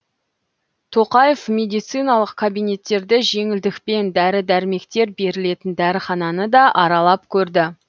тоқаев медициналық кабинеттерді жеңілдікпен дәрі дәрмектер берілетін дәріхананы да аралап көрді